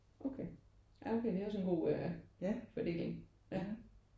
Okay. Ja okay det er også en god fordeling ja